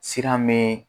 Sira me